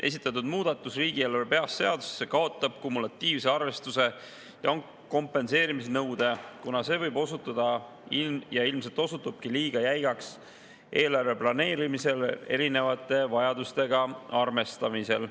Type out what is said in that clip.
Esitatud muudatus riigieelarve baasseadusesse kaotab kumulatiivse arvestuse ja kompenseerimise nõude, kuna see võib osutuda ja ilmselt osutubki liiga jäigaks eelarve planeerimisel erinevate vajadustega arvestamisel.